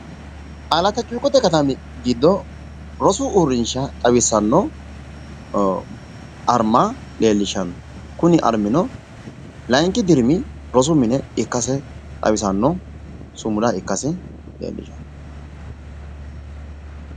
Alatta cuukkote katami giddo rosu uurrinsha xawisanno arma leellishanno kuni armino layinki dirimi rosi mini arma/sumuda ikkasi leellishshanno misileeti